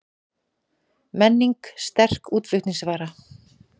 Menning sterk útflutningsvara